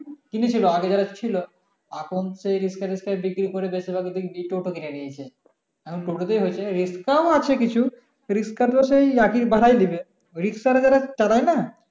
কিনেছিলো আগে যারা ছিলো এখন সেই রিক্সা টিক্সা বিক্রি করে বেশির ভাগ দেখবি টোটো কিনে নিয়েছে এখন টোটো তে হয়েছে রিক্সা আছে কিছু রিক্সা তো সেই একি ভাড়া নিবে রিক্সা যারা চড়ায় না